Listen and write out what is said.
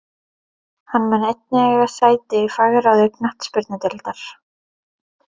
Hann mun einnig eiga sæti í fagráði knattspyrnudeildar.